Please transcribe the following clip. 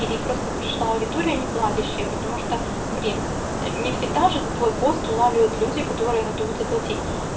или просто пришла аудитория не платящая потому что блин не всегда же твой пост улавливает люди которые готовы заплатить